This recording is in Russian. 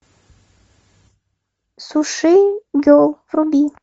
сушигерл вруби